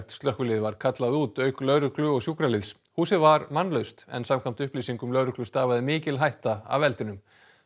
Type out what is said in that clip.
slökkvilið var kallað út auk lögreglu og húsið var mannlaust en samkvæmt upplýsingum lögreglu stafaði mikil hætta af eldinum